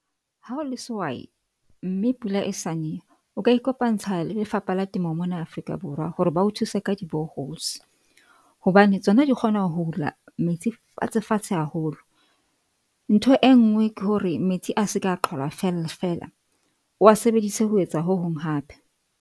Ha o le sehwai mme pula e sa ne. O ka ikopantse le Lefapha la Temo mona Afrika Borwa hore ba o thuse ka di bore holes hobane tsona di kgona ho hula metsi fatshe fatshe haholo. Ntho e nngwe ke hore metsi a se ka, a qalwa fela fela. O a sebedise ho etsa ho hong hape.